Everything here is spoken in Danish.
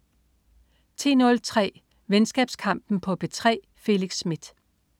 10.03 Venskabskampen på P3. Felix Smith